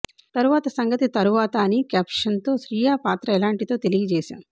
తరువాత సంగతి తరువాత అని క్యాప్షన్తో శ్రీయ పాత్ర ఎలాంటిదో తెలియజేశాం